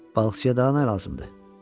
Balıqçıya daha nə lazımdır?